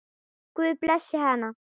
Guð blessi hana.